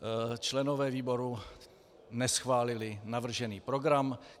Členové výboru neschválili navržený program.